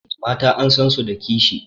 Mata an san su da kishi.